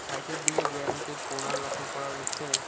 Site এর দিকে bench এর কোনা লক্ষ্য করা যাচ্ছে।